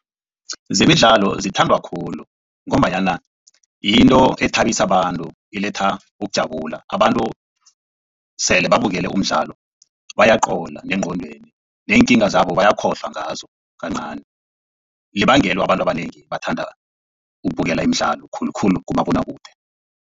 Zemidlalo zithandwa khulu ngombanyana yinto ethabisa abantu iletha ukujabula abantu sele babukele umdlalo bayaqola nengqondweni neenkinga zabo bayakhohlwa ngazo kancani libangelo abantu abanengi bathanda ukubukela imidlalo khulukhulu kumabonwakude.